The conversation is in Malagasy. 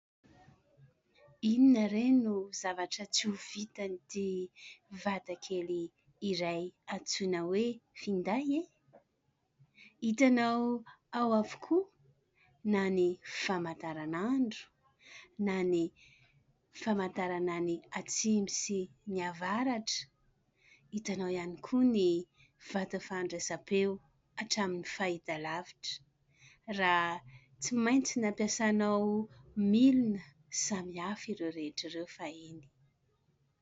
Inona re no zavatra tsy ho vitan'ity vatakely iray antsoina hoe finday ? Hitanao ao avokoa na ny famantaran'andro na ny famantarana ny atsimo sy ny avaratra, hitanao ihany koa ny vata fandraisam-peo hatramin'ny fahitalavitra raha tsy maintsy nampiasanao milona samy hafa ireo rehetra ireo fahiny.